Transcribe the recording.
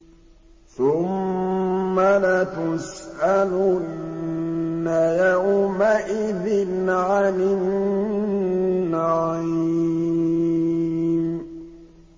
ثُمَّ لَتُسْأَلُنَّ يَوْمَئِذٍ عَنِ النَّعِيمِ